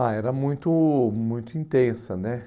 Ah, era muito muito intensa, né?